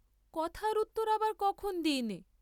কথার উত্তর আবার কখন দিইনে?